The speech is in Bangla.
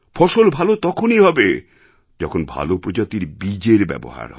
ফসল ভালো তখনই হবে যখন ভালো প্রজাতির বীজের ব্যবহার হবে